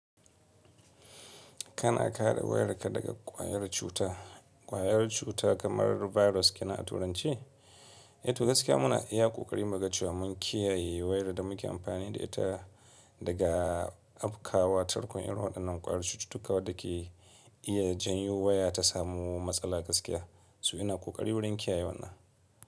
Kana kaɗa wayarka daga ƙwayar cuta. Ƙwayar cuta kamar virus kina a turanci? Eh to gaskiya muna iya ƙoƙari maugajewa mun kiyaye wayar da muke amfani da ita daga abkawa tarkon irin waɗannan ƙwayar cututtuka waɗanda ke iya janyo waya ta samu matsala gaskiya. Su ina ƙoƙari wurin kiyaye wannan.